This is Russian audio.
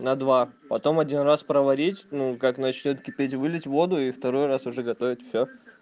на два потом один раз проварить ну как начнёт кипеть вылить воду и второй раз уже готовить всё